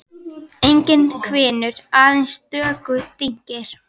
Enginn hvinur, aðeins stöku dynkir.